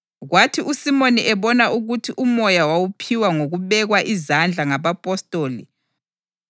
Kwathi uSimoni ebona ukuthi uMoya wawuphiwa ngokubekwa izandla ngabapostoli wabahuga ngemali